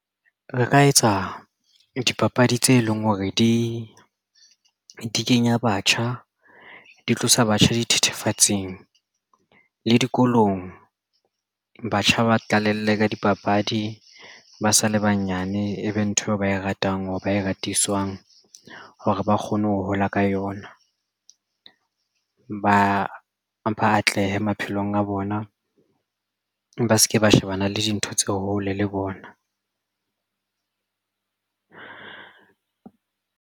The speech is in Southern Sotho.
Re ka etsa dipapadi tse leng hore di kenya batjha di tlosa batjha dithethefatsing le dikolong batjha ba qalelle ka dipapadi ba sa le banyane ebe ntho eo ba e ratang hore ba e ratiswang hore ba kgone ho hola ka yona ba mpha atlehe maphelong a bona ba se ke ba shebana le dintho tse hole le bona.